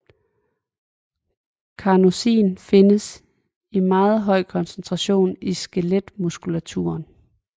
Carnosin findes i meget høj koncentration i skeletmuskulaturen